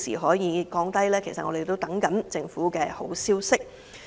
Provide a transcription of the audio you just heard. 我們仍在等候政府的好消息。